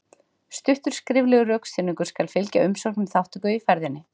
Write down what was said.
Stuttur skriflegur rökstuðningur skal fylgja umsókn um þátttöku í ferðinni.